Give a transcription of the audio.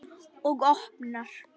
Og opnar.